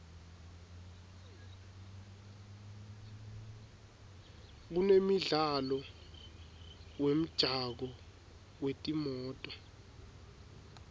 kunemidlalo wemjako wetimoto